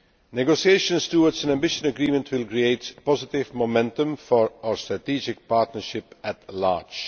Negotiations towards an ambitious agreement will create positive momentum for our strategic partnership at large.